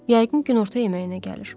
Yəqin günorta yeməyinə gəlir.